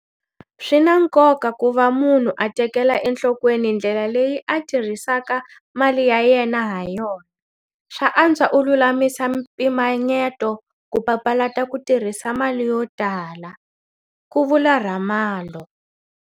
Swi na nkoka ku va munhu a tekela enhlokweni ndlela leyi a tirhisaka mali ya yena hayona. Swa antswa u lulamisa mpimanyeto ku papalata ku tirhisa mali yo tala, ku vula Ramalho.